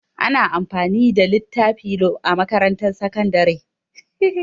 Ana amfani da littafi a makarantar sakandare.